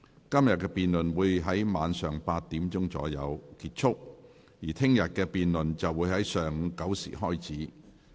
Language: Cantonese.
今天的辯論會在晚上8時左右結束，而明天的辯論會在上午9時開始。